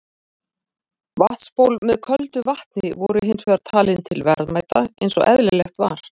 Vatnsból með köldu vatni voru hins vegar talin til verðmæta eins og eðlilegt var.